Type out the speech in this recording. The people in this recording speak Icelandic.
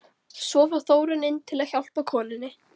Svo fór Þórunn inn til að hjálpa konunni.